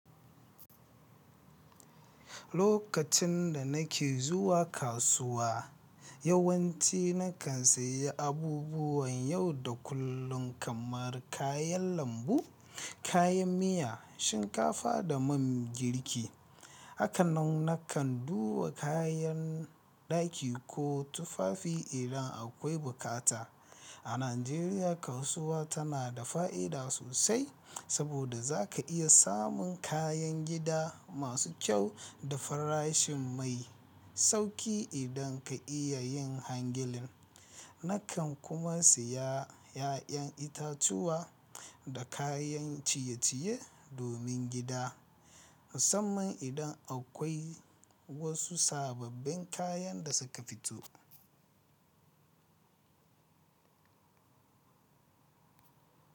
Lokacin da nake zuwa kasuwa, yawanci nakan sayi abubuwan yau da kullum kamar kayan lambu, kayan miya, shinkafa da man girki. Hakanan nakan duba kayan ɗaki ko tufafi idan akwai bukata. A Najeriya, kasuwa tana da fa'ida sosai saboda za ka iya samun kayan gida masu kyau da farashin mai sauƙi idan ka iya yin hangilin. Nakan kuma siya ƴaƴan itatuwa da kayan ciye-ciye domin gida, musamman idan akwai wasu sabobbin kayan da suka fito.